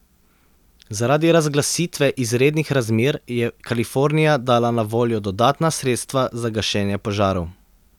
Zaradi razglasitve izrednih razmer je Kalifornija dala na voljo dodatna sredstva za gašenje požarov.